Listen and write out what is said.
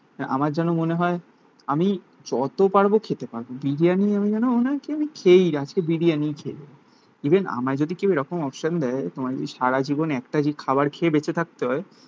তাই আমার যেন মনে হয় আমি যত পারবো খেতে পারবো. বিরিয়ানি আমি যেন ওনাকে আমি খেয়েই আজকে বিরিয়ানিই খেয়ে নেবো ইভেন আমায় যদি কেউ এরকম অপশন দেয় সারাজীবন একটা যে খাবার খেয়ে বেঁচে থাকতে হয়